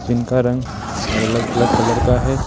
जिनका रंग अलग अलग कलर का है।